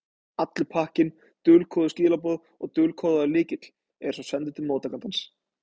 Allur pakkinn, dulkóðuð skilaboð og dulkóðaður lykill, er svo sendur til móttakandans.